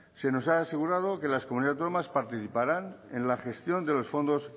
se nos ha asegurado que las comunidades autónomas participarán en la gestión de los fondos